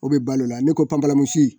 O bɛ balo la ne ko panparamusi